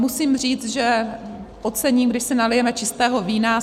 Musím říct, že ocením, když si nalijeme čistého vína.